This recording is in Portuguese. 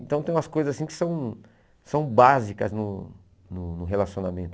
Então tem umas coisas assim que são são básicas no no no relacionamento.